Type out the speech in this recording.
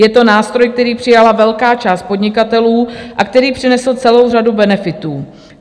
Je to nástroj, který přijala velká část podnikatelů a který přinesl celou řadu benefitů.